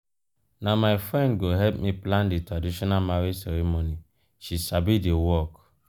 na my friend go help me plan di traditional marriage ceremony she sabi di work.